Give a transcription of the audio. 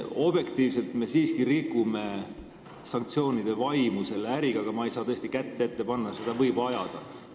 Objektiivselt võttes me siiski rikume selle äriga sanktsioonide vaimu, kuid ma ei saa tõesti kätt ette panna, seda äri võib ajada.